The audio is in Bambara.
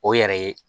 O yɛrɛ ye